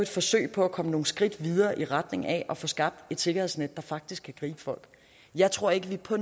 forsøg på at komme nogle skridt videre i retning af at få skabt et sikkerhedsnet der faktisk kan gribe folk jeg tror ikke at vi på